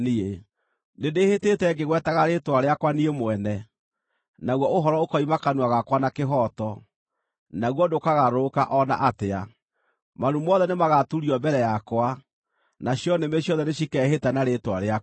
Nĩndĩhĩtĩte ngĩĩgwetaga rĩĩtwa rĩakwa niĩ mwene, naguo ũhoro ũkoima kanua gakwa na kĩhooto, naguo ndũkagarũrũka o na atĩa: Maru mothe nĩmagaturio mbere yakwa; nacio nĩmĩ ciothe nĩcikeehĩta na rĩĩtwa rĩakwa.